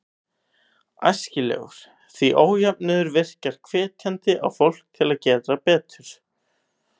Æskilegur, því ójöfnuður virkar hvetjandi á fólk til að gera betur.